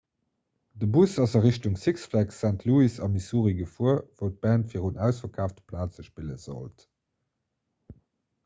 de bus ass a richtung six flags st louis a missouri gefuer wou d'band virun ausverkaafte plaze spille sollt